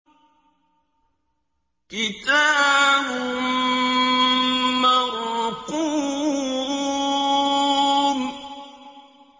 كِتَابٌ مَّرْقُومٌ